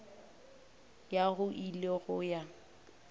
ya go ile go ya